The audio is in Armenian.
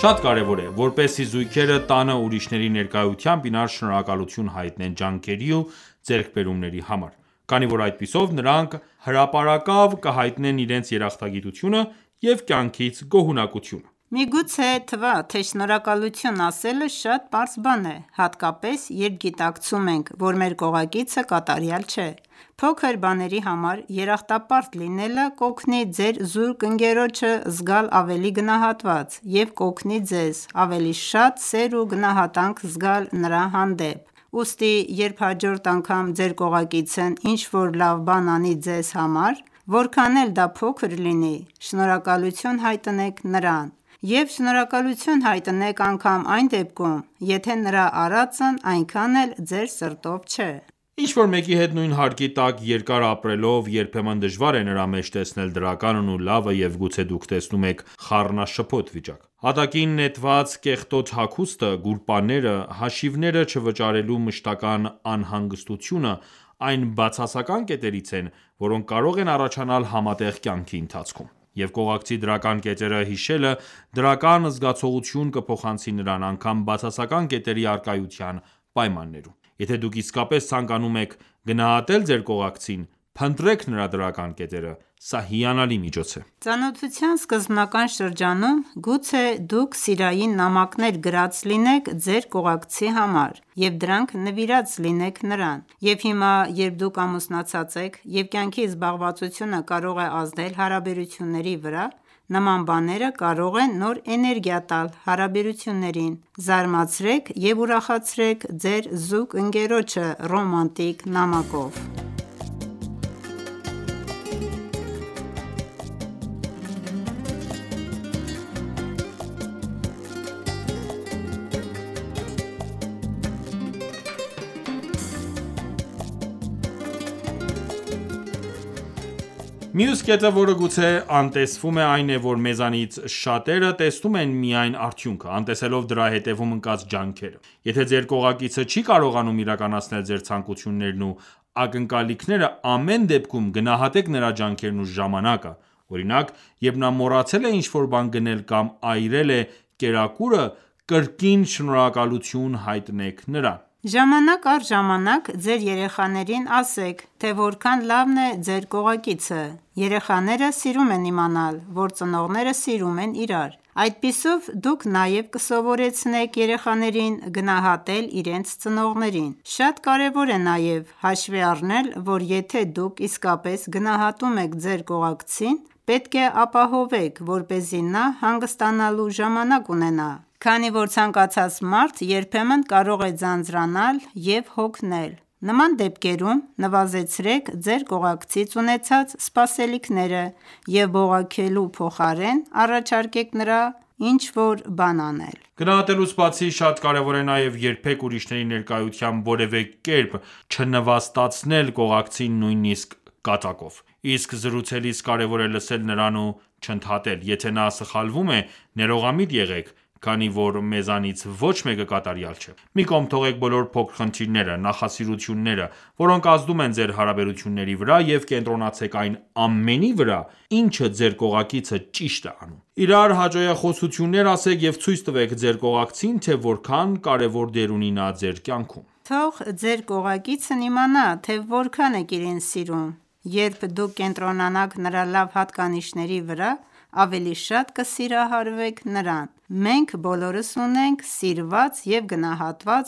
Շատ կարևոր է, որպեսզի զույգերը տանը ուրիշների ներկայությամբ իրար շնորհակալություն հայտնեն ջանքերի ու ձեռքբերումների համար: Քանի որ այդպիսով նրանք հրապարակավ կհայտնեն իրենց երախտագիտությունը և կյանքից գոհունակությունը: Միգուցե թվա, թե շնորհակալություն ասելը շատ պարզ բան է, հատկապես երբ գիտակցում ենք, որ մեր կողակիցը կատարյալ չէ: Փոքր բաների համար երախտապարտ լինելը կօգնի ձեր զուգընկերոջը զգալ ավելի գնահատված և կօգնի ձեզ ավելի շատ սեր և գնահատանք զգալ նրա հանդեպ: Ուստի երբ հաջորդ անգամ ձեր կողակիցն ինչ որ լավ բան անի ձեզ համար, որքան էլ դա փոքր լինի, շնորհակալություն հայտնեք նրան: Եվ շնորհակալություն հայտնեք անգամ այն դեպքում, եթե նրա արածն այնքան էլ ձեր սրտով չէ: Ինչ որ մեկի հետ նույն հարկի տակ երկար ապրելով երբեմն դժվար է նրա մեջ տեսնել դրականն ու լավը և գուցե դուք տեսնում եք խառնաշփոթ վիճակ: Հատակին նետված կեղտոտ հագուստը, գուլպաները, հաշիվները չվճարելու մշտական անհանգստությունը այն բացասական կետերից են, որոնք կարող են առաջանալ համատեղ կայնքի ընթացքում: Եվ կողակցի դրական կետերը հիշելը դրական զգացողություն կփոխանցի նրան, անգամ բացասական կետերի առկայության պայմաններում: Եթե դուք իսկապես ցանկանում եք գնահատել ձեր կողակցին, փնտրեք նրա դրական կետերը: Սա հիանալի միջոց է: Ծանոթության սկզբնական շրջանում գուցե դուք սիրային նամակներ գրած լինեք ձեր կողակցի համար ու դրանք նվիրած լինեք նրան: Եվ հիմա երբ դուք ամուսնացած եք, և կյանքի զբաղվածությունը կարող է ազդել հարաբերությունների վրա, նման բաները կարող են նոր էներգիա տալ հարաբերություններին: Զարմացրեք և ուրախացրեք ձեր զուգընկերոջը ռոմանտիկ նամակով: Մյուս կետը որը գուցե անտեսվում է, այն է, որ մեզանից շատերը տեսնում են միայն արդյունքը, անտեսելով դրա հետևում ընկած ջանքերը: Եթե ձեր կողակիցը չի կարողանում իրականացնել ձեր ցանկություններն ու ակնկալիքները, ամեն դեպքում գնահատեք նրա ջանքերն ու ժամանակը: Օրինակ, երբ նա մոռացել է ինչ որ բան գնել կամ այրել է կերակուրը, կրկին շնորհակալություն հայտնեք նրան: Ժամանակ առ ժամանակ ձեր երեաներին ասեք թե որքան լավն է ձեր կողակիցը: Երեխաները սիրում են իմանալ, որ ծնողները սիրում են իրար: Այդպիսով դուք նաև կսովորեցնեք երեխաներին գնահատել իրենց ծնողներին: Շատ կարևոր է նաև հաշվի առնել որ եթե դուք իսկապես գնահատում եք ձեր կողակցին, պետք է ապահովեք, որպեսզի նա հանգստանալու ժամանակ ունենա: Քանի որ ցանկացած մարդ երբեմն կարող է ձանձրանալ ու հոգել: Նման դեպքերում նվազեցրեք ձեր կողակցից ունեցած սպասելիքները և բողոքելու փոխարեն, առաջարկեք նրա փոխարեն ինչ որ բան անել: Գնահատելուց բացի, շատ կարևոր է նաև երբեք ուրիշների ներկայությամբ որևէ կերպ չնվաստացնել կողակցին նույնիսկ կատակով: Իսկ զրուցելիս կարևոր է լսել նրան ու չընդհատել: Եթե նա սխալվում է, ներողամիտ եղեք, քանի որ մեզանից ոչ մեկը կատարյալ չէ: Մի կողմ թողեք բոլոր փոքր խնդիրները, նախասիրությունները, որոնք ազդում են ձեր հարաբերությունների վրա և կենտրոնացեք այն ամենի վրա, ինչը ձեր կողակիցը ճիշտ է անում: Իրար հաճոյախոսություններ ասեք և ցույց տվեք ձեր կողակցին, թե որքան կարևոր դեր ունի նա ձեր կյանքում: Թող ձեր կողակիցն իմանա, թե որքան եք իրեն սիրում: Երբ դուք կենտրոնանաք նրա լավ հատկանիշների վրա, ավելի շատ կսիրահարվեք նրան: Մենք բոլորս ունենք սիրված և գնահատված